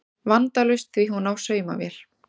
Vandalaust því hún á saumavél